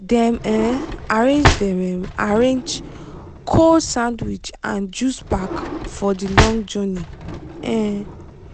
dem um arrange dem um arrange cold sandwich and juice pack for the long journey. um